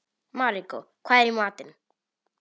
Maríkó, hvað er í matinn?